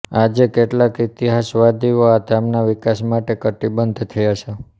આજે કેટલાક ઇતિહાસવિદો આ ધામના વિકાસ માટે કટિબદ્ધ થયા છે